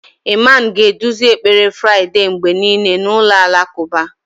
Imam ga-eduzi ekpere Friday mgbe niile n'ụlọ alakụba